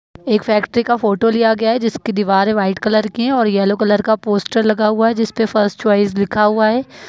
एक फैक्ट्री का फोटो लिया गया है जिसके दीवारें वाइट कलर की हैं और येलो कलर का पोस्टर लगा हुआ है जिसपे फर्स्ट चॉइस लिखा हुआ है।